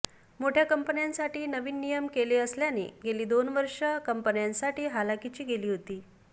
मोठय़ा कंपन्यांसाठी नवीन नियम केले असल्याने गेली दोन वर्षे कंपन्यांसाठी हलाखीची गेली होती